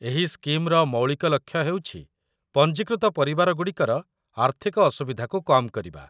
ଏହି ସ୍କିମ୍‌ର ମୌଳିକ ଲକ୍ଷ୍ୟ ହେଉଛି ପଞ୍ଜୀକୃତ ପରିବାରଗୁଡ଼ିକର ଆର୍ଥିକ ଅସୁବିଧାକୁ କମ୍ କରିବା